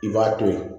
I b'a to ye